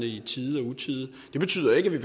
i tide og utide det betyder ikke at vi